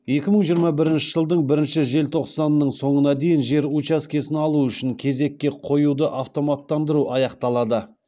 екі мың жиырма бірінші жылдың бірінші тоқсанының соңына дейін жер учаскесін алу үшін кезекке қоюды автоматтандыру аяқталады